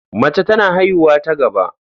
Mace tana haihuwa ta gaba.